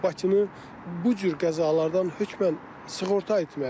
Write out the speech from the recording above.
Bakını bu cür qəzalardan hökmən sığorta etməliyik.